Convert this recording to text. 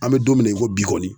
An bɛ don min na i ko bi kɔni